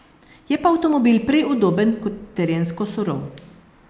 Je pa avtomobil prej udoben kot terensko surov.